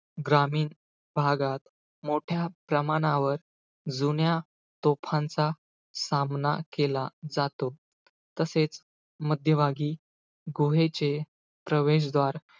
ग्रामीण भागात मोठ्या प्रमाणावर, जुन्या तोफांचा सामना केला जातो. तसेच, मध्यभागी गुहेचे प्रवेशद्वार,